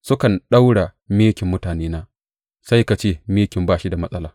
Sukan ɗaura mikin mutanena sai ka ce mikin ba shi da matsala.